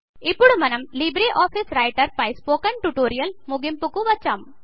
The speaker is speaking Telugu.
ఇప్పుడు మనం లిబ్రే ఆఫీస్ రైటర్ పై స్పోకెన్ ట్యుటోరియల్ ముగింపుకు వచ్చాం